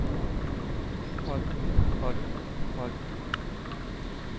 holdt holdt holdt